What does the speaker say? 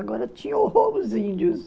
Agora tinha o índios